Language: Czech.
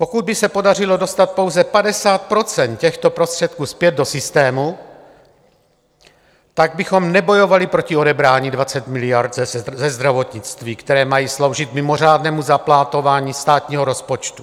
Pokud by se podařilo dostat pouze 50 % těchto prostředků zpět do systému, tak bychom nebojovali proti odebrání 20 miliard ze zdravotnictví, které mají sloužit mimořádnému záplatování státního rozpočtu.